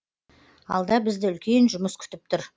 алда бізді үлкен жұмыс күтіп тұр